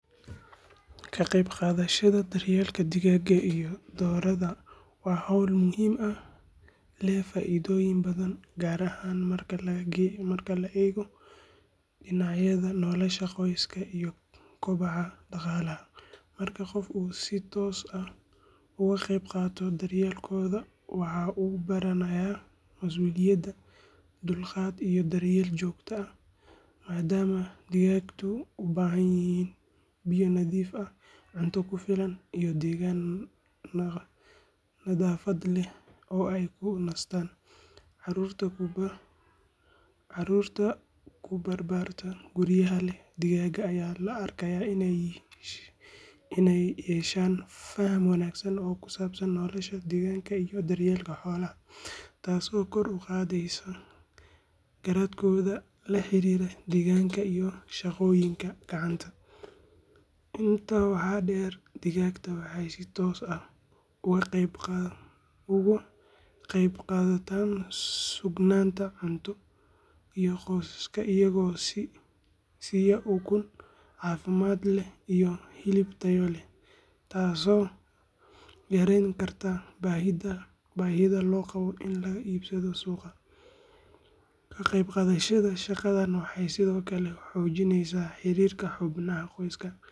Ka qaybqaadashada daryeelka doorada iyo digaagga wa hawl muhiim eeh leeh faa’iidooyin badan, gaar ahaan marka la eego dhinacyada nolosha qoyska iyo kobaca dhaqaalaha. Marka qofku si toos ah uga qaybqaato daryeelkooda, wuxuu baranayaa mas’uuliyadda, dulqaadka, iyo daryeel joogto ah, maadaama digaagtu u baahan yihiin biyo nadiif ah, cunto ku filan, iyo deegaan nadaafad leh oo ay ku nastaan. Carruurta ku barbaarta guryaha leh digaag ayaa la arkayaa inay yeeshaan faham wanaagsan oo ku saabsan nolosha deegaanka iyo daryeelka xoolaha, taas oo kor u qaadeyso garashadooda la xiriirta deegaanka iyo shaqooyinka gacanta. Intaa waxaa dheer, digaagtu waxay si toos ah uga qaybqaataan sugnaanta cuntada, iyaga oo qofka siiya ukun caafimaad leh iyo hilib tayo leh, taasoo yarayn karta baahida loo qabo in laga iibsado suuqyada. Ka qaybqaadashada shaqadan sidoo kale waxay xoojisaa xiriirka xubnaha qoyska.